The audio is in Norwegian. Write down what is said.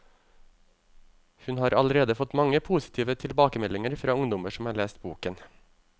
Hun har allerede fått mange positive tilbakemeldinger fra ungdommer som har lest boken.